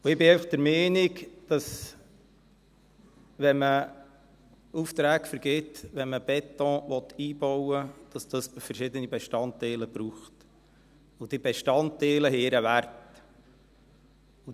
Ich bin einfach der Meinung, dass wenn man Aufträge vergibt, wenn man Beton einbauen will, es dann verschiedene Bestandteile braucht, und diese Bestandteile haben ihren Wert.